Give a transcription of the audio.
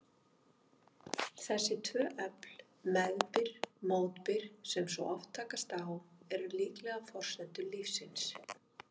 Þessi tvö öfl, meðbyr-mótbyr, sem svo oft takast á, eru líklega forsendur lífsins.